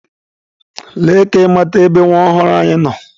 Lee ka ị mata ebe nwa ọhụrụ anyị nọ!.